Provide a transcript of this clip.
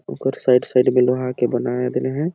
ओकर side -side में लोहा के बनाया गए हैं।